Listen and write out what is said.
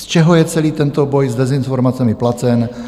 Z čeho je celý tento boj s dezinformacemi placen?